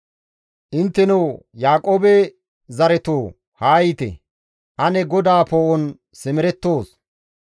Intteno Yaaqoobe zaretoo! Haa yiite! Ane GODAA poo7on simerettoos.